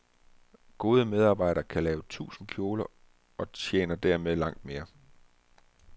Gode medarbejdere kan lave tusind kjoler og tjener dermed langt mere.